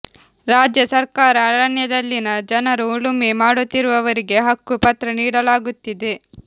ರಾಜ್ಯ ಸರ್ಕಾರ ಅರಣ್ಯದಲ್ಲಿನ ಜನರು ಉಳುಮೆ ಮಾಡುತ್ತಿರುವವರಿಗೆ ಹಕ್ಕು ಪತ್ರ ನೀಡಲಾಗುತ್ತಿದೆ